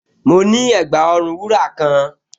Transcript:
Mo ní ẹ̀gbà-ọrùn wúrà kan